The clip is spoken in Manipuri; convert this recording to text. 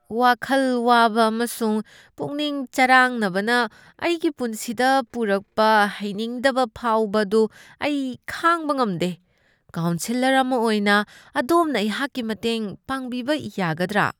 ꯋꯥꯈꯜ ꯋꯥꯕ ꯑꯃꯁꯨꯡ ꯄꯨꯛꯅꯤꯡ ꯆꯔꯥꯡꯅꯕꯅ ꯑꯩꯒꯤ ꯄꯨꯟꯁꯤꯗ ꯄꯨꯔꯛꯄ ꯍꯩꯅꯤꯡꯗꯕ ꯐꯥꯎꯕ ꯑꯗꯨ ꯑꯩ ꯈꯥꯡꯕ ꯉꯝꯗꯦ꯫ ꯀꯥꯎꯟꯁꯦꯂꯔ ꯑꯃ ꯑꯣꯏꯅ, ꯑꯗꯣꯝꯅ ꯑꯩꯍꯥꯛꯀꯤ ꯃꯇꯦꯡ ꯄꯥꯡꯕꯤꯕ ꯌꯥꯒꯗ꯭ꯔꯥ?